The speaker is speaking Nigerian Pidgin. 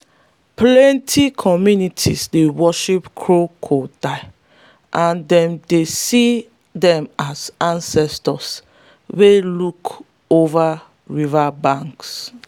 plenty communities dey worship crocodiles and them dey dey see den as ancestors wey look over riverbanks.